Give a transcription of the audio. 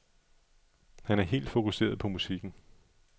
Han er helt fokuseret på musikken.